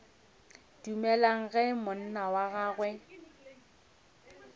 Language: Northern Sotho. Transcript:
dumelago ge monna wa gagwe